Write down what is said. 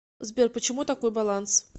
сбер почему такой баланс